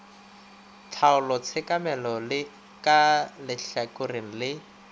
tlhaolo tshekamelo ka lehlakoreng le